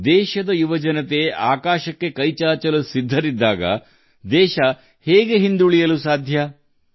ದೇಶದ ಯುವಜನತೆ ಆಕಾಶ ಮುಟ್ಟಲು ಸಿದ್ಧವಾಗಿರುವಾಗ ನಮ್ಮ ದೇಶ ಹಿಂದೆ ಬೀಳುವುದಾದರೂ ಹೇಗೆ